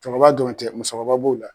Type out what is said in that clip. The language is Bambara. Cɔkɔrɔba dɔrɔn tɛ musokɔrɔba b'o la.